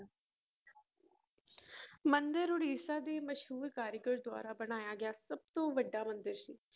ਮੰਦਿਰ ਉੜੀਸਾ ਦੇ ਮਸ਼ਹੂਰ ਕਾਰੀਗਰ ਦੁਆਰਾ ਬਣਾਇਆ ਗਿਆ ਸਭ ਤੋਂ ਵੱਡਾ ਮੰਦਿਰ ਸੀ।